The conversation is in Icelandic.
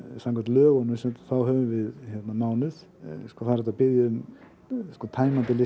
samkvæmt lögunum höfum við mánuð það er hægt að biðja um tæmandi lista